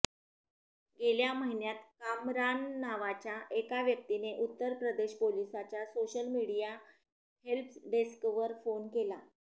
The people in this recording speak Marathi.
गेल्या महिन्यात कामरान नावाच्या एका व्यक्तीने उत्तर प्रदेश पोलिसांच्या सोशल मीडिया हेल्प डेस्कवर फोन केला